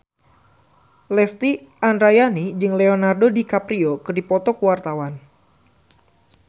Lesti Andryani jeung Leonardo DiCaprio keur dipoto ku wartawan